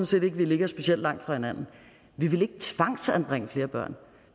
set ikke at vi ligger specielt langt fra hinanden vi vil ikke tvangsanbringe flere børn